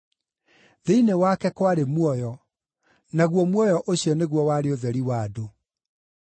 Thĩinĩ wake kwarĩ muoyo, naguo muoyo ũcio nĩguo warĩ ũtheri wa andũ.